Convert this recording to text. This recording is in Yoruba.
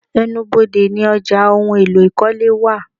Ẹnu ibodè ní ọjà ohùn èlò ikọle wá